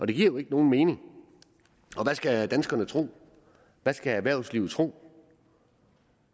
det giver jo ikke nogen mening og hvad skal danskerne tro hvad skal erhvervslivet tro